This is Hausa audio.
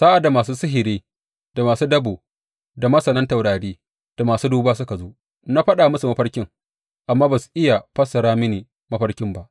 Sa’ad da masu sihiri, da masu dabo, da masanan taurari da masu duba suka zo, na faɗa musu mafarkin, amma ba su iya fassarta mini mafarkin ba.